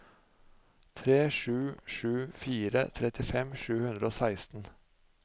tre sju sju fire trettifem sju hundre og seksten